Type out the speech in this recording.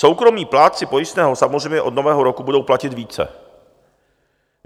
Soukromí plátci pojistného samozřejmě od Nového roku budou platit více.